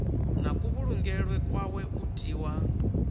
na kuvhulungelwe kwawe u tiwa